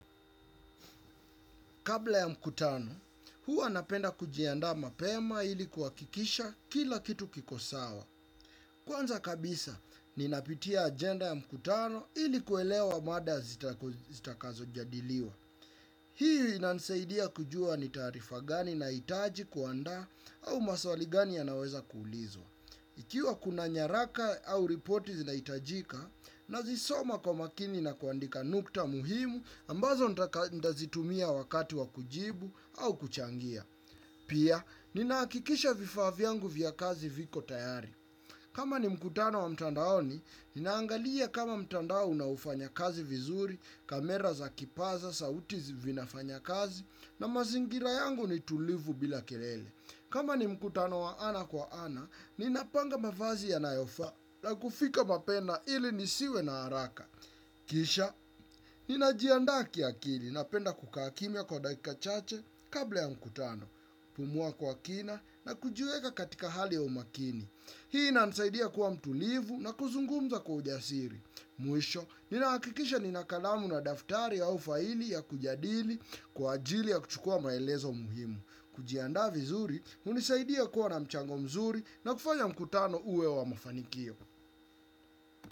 Kabla ya mkutano, huwa napenda kujiandaa mapema ili kuhakikisha kila kitu kiko sawa. Kwanza kabisa, ninapitia ajenda ya mkutano ili kuelewa mada zitakazojadiliwa. Hili linanisaidia kujua ni taarifa gani nahitaji kuandaa au maswali gani yanaweza kuulizwa. Ikiwa kuna nyaraka au ripoti zinahitajika, nazisoma kwa makini na kuandika nukta muhimu ambazo nitazitumia wakati wa kujibu au kuchangia. Pia ninahakikisha vifaa vyangu vya kazi viko tayari. Kama ni mkutano wa mtandaoni, ninaangalia kama mtandao unafanya kazi vizuri, kamera, za kipaza sauti vinafanya kazi, na mazingira yangu ni tulivu bila kilele. Kama ni mkutano wa ana kwa ana, ninapanga mavazi yanayofa na kufika mapema ili nisiwe na haraka. Kisha, ninajiandaa kiakili. Napenda kukaa kimya kwa dakika chache kabla ya mkutano, kupumua kwa kina na kujiweka katika hali ya umakini. Hii inanisaidia kuwa mtulivu na kuzungumza kwa ujasiri. Mwisho, ninahakikisha nina kalamu na daftari au faili ya kujadili kwa ajili ya kuchukua maelezo muhimu. Kujiandaa vizuri, hunisaidia kuwa na mchango mzuri na kufanya mkutano uwe wa mafanikio.